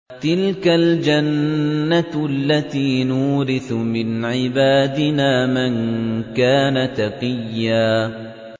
تِلْكَ الْجَنَّةُ الَّتِي نُورِثُ مِنْ عِبَادِنَا مَن كَانَ تَقِيًّا